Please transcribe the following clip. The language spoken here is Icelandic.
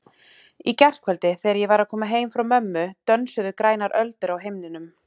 Í gærkvöldi þegar ég var að koma heim frá mömmu dönsuðu grænar öldur á himninum.